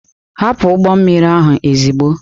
Hapụ ụgbọ mmiri ahụ ozugbo!